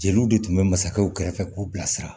Jeliw de tun bɛ masakɛw kɛrɛfɛ k'u bilasira